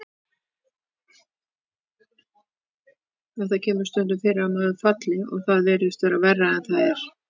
En það kemur stundum fyrir að maður falli og það virðist verra en það er.